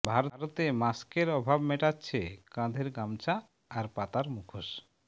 ভারতে মাস্কের অভাব মেটাচ্ছে কাঁধের গামছা আর পাতার মুখোশ